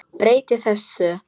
Breyti þessu.